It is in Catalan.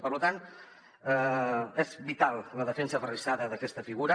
per tant és vital la defensa aferrissada d’aquesta figura